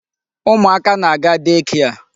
Ụmụ aka na-aga day care.